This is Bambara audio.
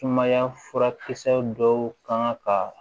Sumaya furakisɛ dɔw kan ka